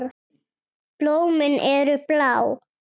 Blómin eru blá.